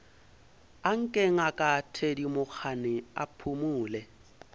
anke ngaka thedimogane a phumole